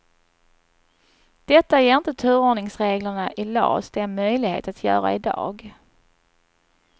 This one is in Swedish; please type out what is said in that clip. Detta ger inte turordningsreglerna i las dem möjlighet att göra i dag.